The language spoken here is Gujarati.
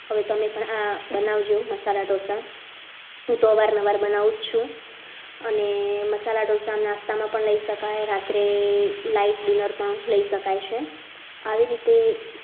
પણ આ બનાવજો મસાલા ઢોસા હું તો અવારનવાર બનાવું છું અને મસાલા ઢોસા નાસ્તામાં પણ લઈ શકાય રાત્રે light diner પણ લઈ શકાય છે આવી રીતે તમે પણ